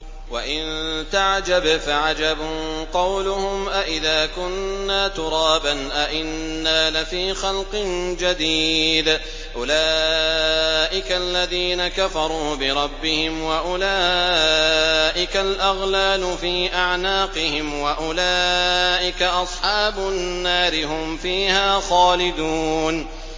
۞ وَإِن تَعْجَبْ فَعَجَبٌ قَوْلُهُمْ أَإِذَا كُنَّا تُرَابًا أَإِنَّا لَفِي خَلْقٍ جَدِيدٍ ۗ أُولَٰئِكَ الَّذِينَ كَفَرُوا بِرَبِّهِمْ ۖ وَأُولَٰئِكَ الْأَغْلَالُ فِي أَعْنَاقِهِمْ ۖ وَأُولَٰئِكَ أَصْحَابُ النَّارِ ۖ هُمْ فِيهَا خَالِدُونَ